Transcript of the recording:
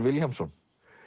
Vilhjálmsson